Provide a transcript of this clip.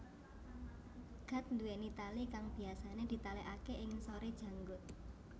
Gat duweni tali kang biyasane ditalekake ing ngisore janggut